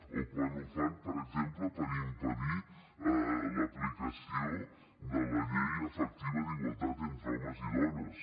o quan ho fan per exemple per impedir l’aplicació de la llei efectiva d’igualtat entre homes i dones